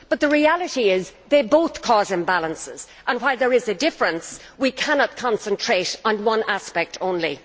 But the reality is they both cause imbalances, and while there is a difference, we cannot concentrate on one aspect only.